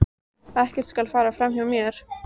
Ekkert skal fara fram hjá mér.